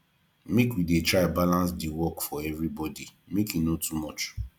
make we dey try balance di work for everybodi make e no too much